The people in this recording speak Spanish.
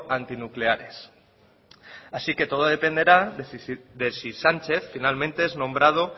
antinucleares así que todo dependerá de si sánchez finalmente es nombrado